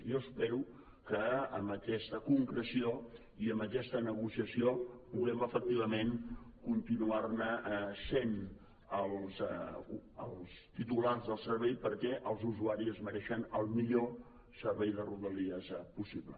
jo espero que amb aquesta concreció i amb aquesta negociació puguem efectivament continuar ne sent els titulars del servei perquè els usuaris es mereixen el millor servei de rodalies possible